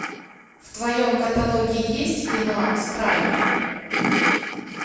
в твоем каталоге есть кино страйк